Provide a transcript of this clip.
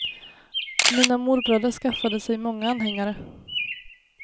Mina morbröder skaffade sig många anhängare.